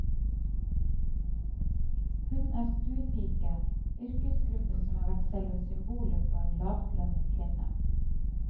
Hun er stuepike, yrkesgruppen som har vært selve symbolet på en lavtlønnet kvinne.